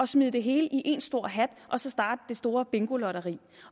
smide det hele i en stor hat og så starte det store bingolotteri